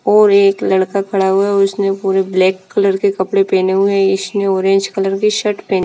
और एक लड़का खड़ा हुआ है उसने पुरे ब्लैक कलर के कपड़े पहने हुए है इसने ऑरेंज कलर की शर्ट पहनी--